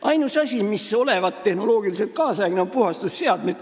Ainus asi, mis olevat tehnoloogiliselt kaasaegne, on puhastusseadmed.